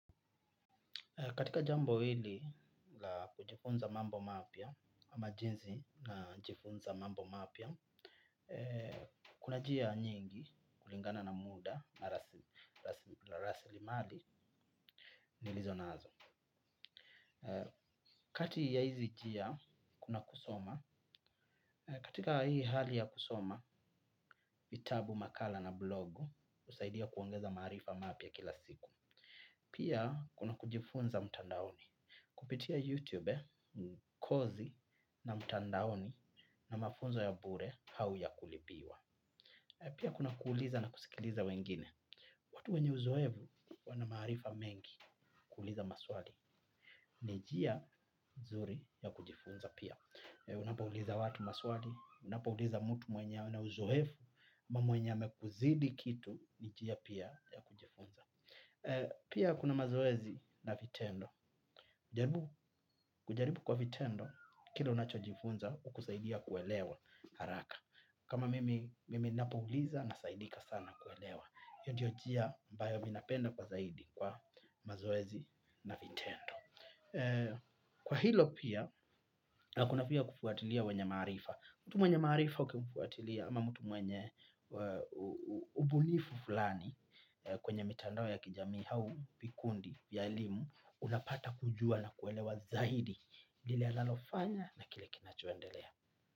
Katika jambo hili la kujifunza mambo mapya, ama jinsi najifunza mambo mapya, kuna njia nyingi kulingana na muda na rasili mali nilizo nazo. Kati ya hizi njia, kuna kusoma. Katika hii hali ya kusoma, vitabu, makala na blogu husaidia kuongeza maarifa. Pia, kuna kujifunza mtandaoni. Kupitia YouTube, kozi na mtandaoni na mafunzo ya bure au ya kulipiwa pia kuna kuuliza na kusikiliza wengine. Watu wenye uzoefu wana maarifa mengi kuuliza maswali. Ni njia nzuri ya kujifunza pia. Unapo uliza watu maswali, unapouliza mtu mwenye ya uzoefu mwenye amekuzidi kitu, ni njia pia ya kujifunza. Pia kuna mazoezi na vitendo. Kujaribu kwa vitendo, kila unacho jifunza hukusaidia kuelewa haraka. Kama mimi ninapouliza nasaidika sana kuelewa. Hiyo ndo njia ambayo mimj napenda kwa zaidi kwa mazoezi na vitendo. Kwa hilo pia, kuna pia kufuatilia wenye maarifa. Mtu mwenye maarifa ukimfuatilia ama mtu wenye ubunifu fulani kwenye mitandao ya kijamii au, vikundi, vya elimu unapata kujua na kuelewa zaidi lile analofanya na kile kinachoendelea.